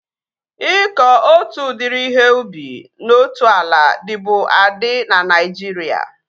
Ịkọ otu udiri ihe ubi na otu ala dịbu adị na Naijiria